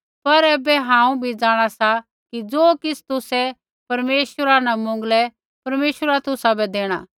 पर ऐबै हांऊँ भी जाँणा सा कि ज़ो किछ़ तुसै परमेश्वरा न मौंगलै परमेश्वर तुसाबै देणा